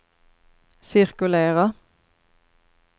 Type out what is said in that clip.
cirkulera